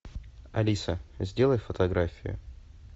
алиса сделай фотографию